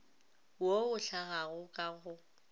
wo o hlagago ka go